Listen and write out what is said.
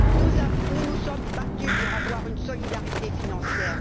Nous nous sommes battus pour avoir une solidarité financière.